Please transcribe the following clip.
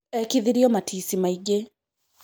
ekithirio matici maingĩ